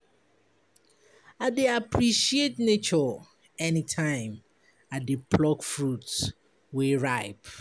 I dey appreciate nature anytime I dey pluck fruit wey ripe.